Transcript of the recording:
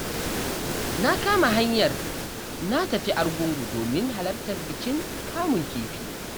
Na kama hanyar na tafi Argungu domin halartar bikin kamun kifi.